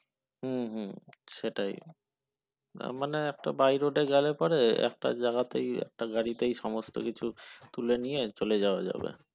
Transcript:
হম হম সেটাই না মানে একটা by road এ গেলে পরে একটা জায়গাতে একটা গাড়িতেই সব কিছু তুলে নিয়ে চলে যাওয়া যাবে